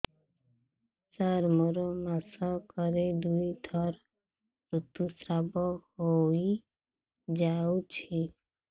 ସାର ମୋର ମାସକରେ ଦୁଇଥର ଋତୁସ୍ରାବ ହୋଇଯାଉଛି